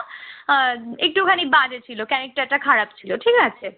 আর একটুখানি বাজে ছিল ক্যারেক্টার টা খারাপ ছিল ঠিক আছে